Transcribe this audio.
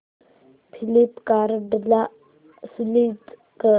फ्लिपकार्टं ला स्विच कर